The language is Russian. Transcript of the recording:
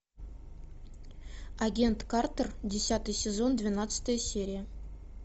агент картер десятый сезон двенадцатая серия